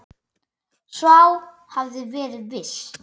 Sá hafði verið viss!